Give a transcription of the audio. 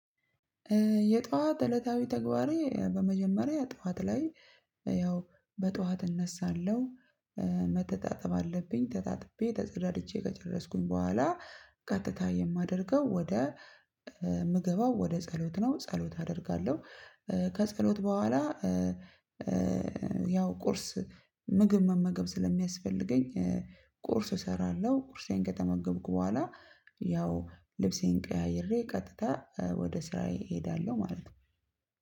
የጠዎት እለታዊ ተግባሬ በመጀመሪያ በጠዎት እነሳለሁ መተጣጠብ አለብኝ ተታጥቤ ተጸዳድቼ ከጨረስኩኝ በኋላ ቀጥታ የማደርጋቸው ወደ የምገባው ው ጸሎት ነው። ጸሎት አደርጋለሁ። ከጸሎት በኋላ ያው ቁርስ ምግብ መመገብ ስለሚያስፈልገኝ ቁርስ እሰራለሁ ቁርሴን ከተመገብኩ በኋላ ያው ልብሴን ቀያይሬ ቀጥታ ወደ ስራዬ እሄዳለሁ። ማለት ነው።